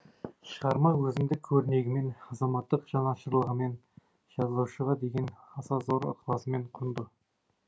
шығарма өзіндік өрнегімен азаматтық жанашырлығымен жазушыға деген аса зор ықыласымен құнды